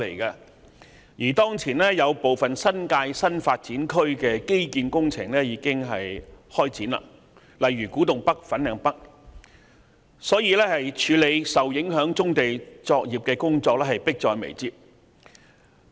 此外，當前有部分新界新發展區的基建工程已經展開，例如古洞北、粉嶺北的工程，處理受影響棕地作業的工作因而迫在眉睫。